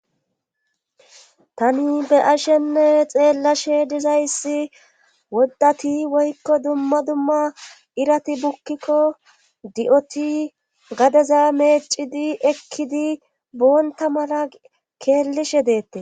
Tani be'ashenne xeellashe dizayssi woddati woykko dumma dumma irati bukkikko di'oti gadeza meecidi ekkidi boonta mala keellishe deettees